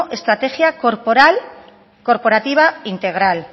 estrategia corporativa integral